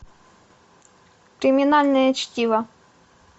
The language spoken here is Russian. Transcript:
криминальное чтиво